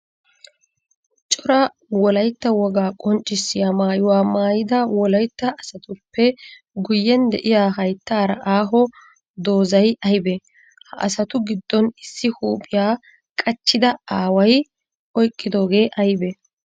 Cora wolaytta wogaa qonccissiya maayuwaa maayida wolaytta asattuppe guyen de'iyaa hayttara aaho doozay aybbe? Ha asattu gidon issi huuphiyaa qachchida aaway oyqqidooge aybbe?